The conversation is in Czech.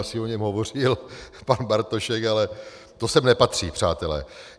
Asi o něm hovořil pan Bartošek, ale to sem nepatří, přátelé.